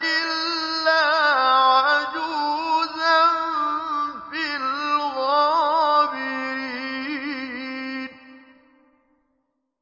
إِلَّا عَجُوزًا فِي الْغَابِرِينَ